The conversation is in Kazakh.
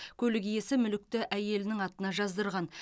көлік иесі мүлікті әйелінің атына жаздырған